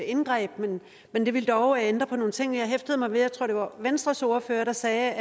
indgreb men det ville dog ændre på nogle ting jeg hæftede mig ved og det var venstres ordfører der sagde